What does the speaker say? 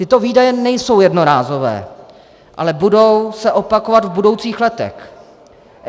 Tyto výdaje nejsou jednorázové, ale budou se opakovat v budoucích letech.